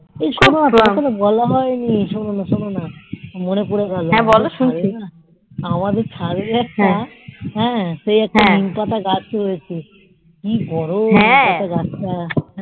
এই শোনো তোমাকে তো বলা হয়নি শোনোনা শোনোনা মনে পড়েগেলো আমাদে ছাদে একটা সেই নীম এটা গাছ ছিল কি বড় সেই গাছ তা